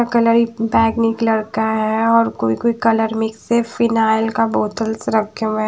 Bag निकला होता है और कोई कोई कलर मिक्स है फिनाइल का बोत्ताल्स रखे हुए है।